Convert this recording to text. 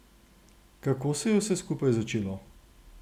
Kako se je vse skupaj začelo?